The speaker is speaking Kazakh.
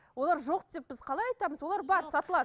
олар жоқ деп біз қалай айтамыз олар бар сатылады